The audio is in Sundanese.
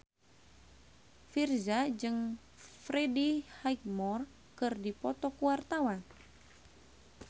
Virzha jeung Freddie Highmore keur dipoto ku wartawan